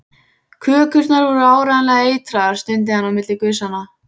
Kökurnar voru áreiðanlega eitraðar stundi hann á milli gusanna.